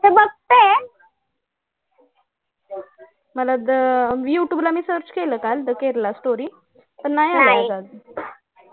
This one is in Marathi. मला वाटतं youtube ला search केलं काल the Kerala story पण नाही आला अजून